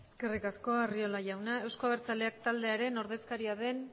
eskerrik asko arriola jauna euzko abertzaleak taldearen ordezkaria den